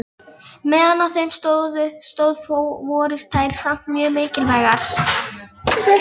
Meðan á þeim stóð voru þær samt mjög mikilvægar.